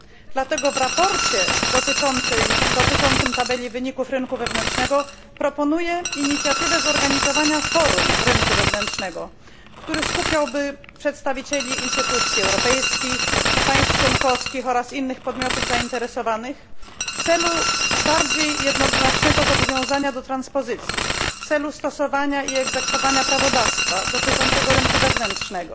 Dlatego w sprawozdaniu dotyczącym tabeli wyników rynku wewnętrznego proponuję inicjatywę zorganizowania forum rynku wewnętrznego, które skupiałoby przedstawicieli instytucji europejskich, państw członkowskich oraz innych podmiotów zainteresowanych w celu bardziej jednoznacznego zobowiązania do transpozycji, w celu stosowania i egzekwowania prawodawstwa dotyczącego rynku wewnętrznego